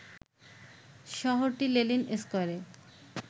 শহরটির লেনিন স্কয়ারে